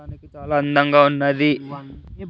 అందంగా ఉన్నది.